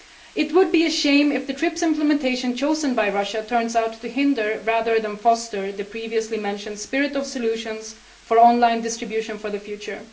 It would be a shame if the TRIPS implementation chosen by Russia turned out to hinder rather than foster the previously mentioned spirit of solutions for online distribution for the future.